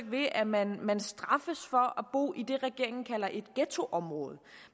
ved at man man straffes for at bo i det regeringen kalder et ghettoområde